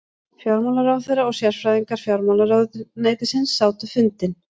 Fjármálaráðherra og sérfræðingar fjármálaráðuneytisins sátu fundinn